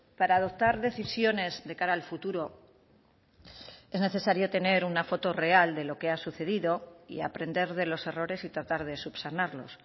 para adoptar decisiones de cara al futuro es necesario tener una foto real de lo que ha sucedido y aprender de los errores y tratar de subsanarlos